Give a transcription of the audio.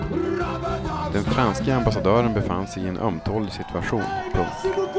Den franske ambassadören befann sig i en ömtålig situation. punkt